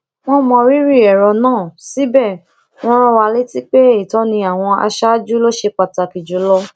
wọn mọ rírì èrò náà síbẹ wọn rán wa létí pé ìtọni àwọn aṣáájú ló ṣe pàtàkì jùlọ